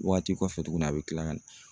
Waati kɔfɛ tugunnni a bɛ kila ka na.